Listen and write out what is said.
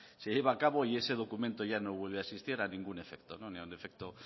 se lleva a cabo y ese documento ya no vuelve a existir a ningún efecto ni a un efecto